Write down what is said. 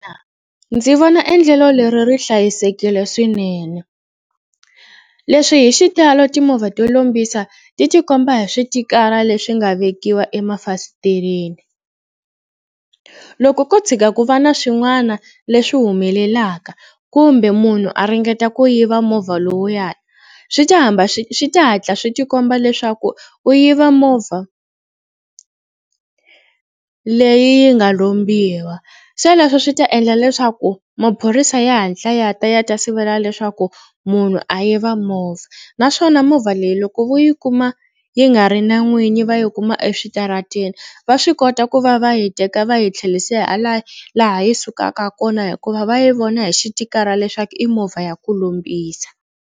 Ndzi vona endlelo leri ri hlayisekile swinene. Leswi hi xitalo timovha to lombisa ti tikomba hi switikara leswi nga vekiwa emafasitereni. Loko ko tshuka ku va na swin'wana leswi humelelaka kumbe munhu a ringeta ku yiva movha lowuya swi ta hamba swi swi ta hatla swi tikomba leswaku u yiva movha leyi yi nga lombiwa. Swoleswo swi ta endla leswaku maphorisa ya hatla ya ta ya ta sivela leswaku munhu a yiva movha naswona movha leyi loko vo yi ku kuma yi nga ri na n'winyi va yi kuma eswitarateni va swi kota ku va va hi teka va yi tlherisela laha yi sukaka kona hikuva va yi vona hi xitikara leswaku i movha ya ku lombisa.